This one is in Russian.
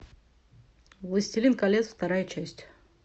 властелин колец вторая часть